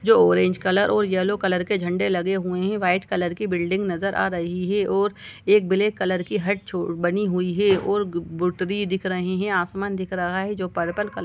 जो orange colour और yellow colour के झंडे लगे हुए हैं व्हाइट कलर की बिल्डिंग नज़र आ रही हैं और ब्लैक कलर की हॉट बनी हुई हैं और ट्री दिख रहा हैं आसमान दिख रहा हैं जो पर्पल कलर --